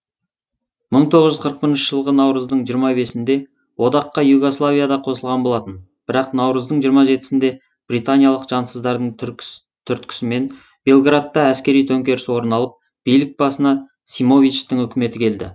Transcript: мың тоғыз жүз қырық бірінші жылғы наурыздың жиырма бесінде одаққа югославия да қосылған болатын бірақ наурыздың жиырма жетісінде британиялық жансыздардың түрткісімен белградта әскери төңкеріс орын алып билік басына симовичтың үкіметі келді